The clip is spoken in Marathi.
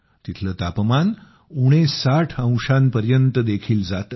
तिथलं तापमान उणे 60 डिग्री पर्यंत देखील जातं